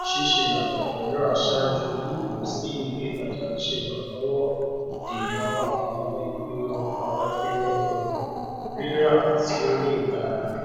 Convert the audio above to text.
ṣíṣe àtòkọ rírà ṣáájú lilọ sí iléitaja ń ṣe ìrànlọwọ dénà àwọn ìpinnu àwọn ìpinnu um rírà tí ó ní ìtara